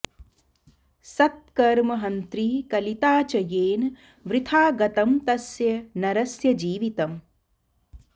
सत्कर्म हन्त्री कलिता च येन वृथा गतं तस्य नरस्य जीवितम्